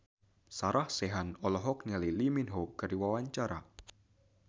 Sarah Sechan olohok ningali Lee Min Ho keur diwawancara